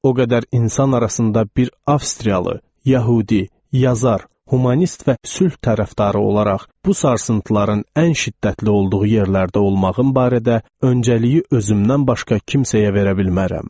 O qədər insan arasında bir Avstriyalı, Yəhudi, yazar, humanist və sülh tərəfdarı olaraq bu sarsıntıların ən şiddətli olduğu yerlərdə olmağım barədə öncəliyi özümdən başqa kimsəyə verə bilmərəm.